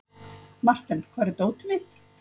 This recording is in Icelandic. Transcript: Marten, hvar er dótið mitt?